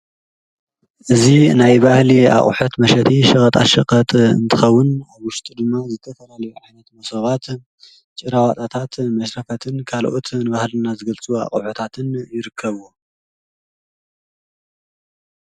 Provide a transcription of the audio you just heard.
እዙ ናይ ባህሊ ኣቝሐት መሸቲ ሽቐጣሽቐት እንትኸዉን ኣብ ዉሽቲ ድማ ዘተፈላል ኣሒነት መሶባት ጭእራዋጥታት መሥረፈትን ካልኦት ንባሃልና ዘገልቱ ኣቝሑታትን ይርከብ።